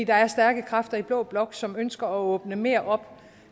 der er stærke kræfter i blå blok som ønsker at åbne mere op